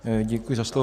Děkuji za slovo.